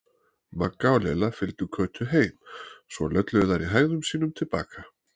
Magga og Lilla fylgdu Kötu heim, svo lölluðu þær í hægðum sínum til baka.